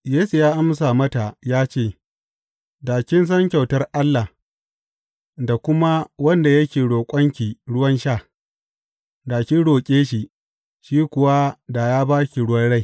Yesu ya amsa mata ya ce, Da kin san kyautar Allah, da kuma wanda yake roƙonki ruwan sha, da kin roƙe shi, shi kuwa da ya ba ki ruwan rai.